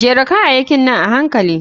Jera kayayakin nan a hankali.